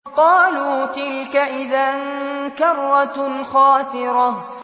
قَالُوا تِلْكَ إِذًا كَرَّةٌ خَاسِرَةٌ